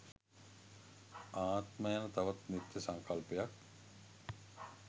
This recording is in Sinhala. ආත්ම යන තවත් නිත්‍ය සංකල්පයක්